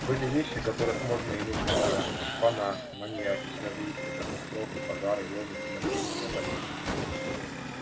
были вещи которых можно и нужно бояться шпана маньяки террористы катастрофы пожары войны смертельные болезни